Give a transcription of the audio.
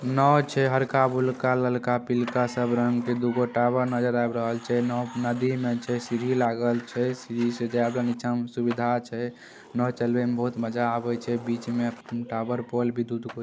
नाव छै हरका ब्लूका ललका पिल्का सब रंग के दुगो टावर नजर आब रहल छै| नाव नदी मे छै सीढी लागल छै सीढी से जाय वाला नीचा मे सुविधा छै । नाव चलवे में बहुत मजा आबे छै बीच में टावर पोल भी दू दू गो--